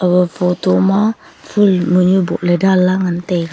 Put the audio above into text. aga photo ma phol mun yu boh ley dan lah ngan taega.